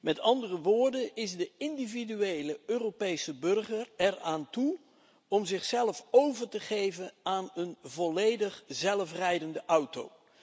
Met andere woorden is de individuele Europese burger eraan toe om zich over te geven aan een volledig zelfrijdende auto?